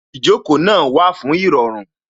Ìjókòó náà wà fún Ìrọ̀rùn